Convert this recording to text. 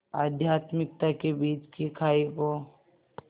आध्यात्मिकता के बीच की खाई को